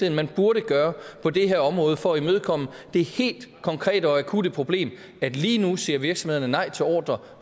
er man burde gøre på det her område for at imødekomme det helt konkrete og akutte problem at lige nu siger virksomhederne nej til ordrer